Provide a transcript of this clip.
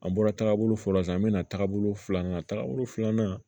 An bɔra tagabolo fɔlɔ san bɛna taagabolo filanan tagabolo filanan